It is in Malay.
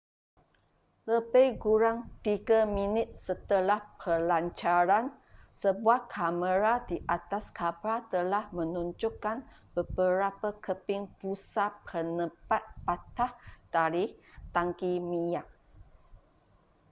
lebih kurang 3 minit setelah pelancaran sebuah kamera di atas kapal telah menunjukkan beberapa keping busa penebat patah dari tangki minyak